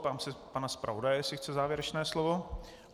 Ptám se pana zpravodaje, jestli chce závěrečné slovo.